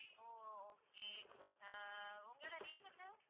ஓ okay ஆஹ் உங்களோட name என்ன?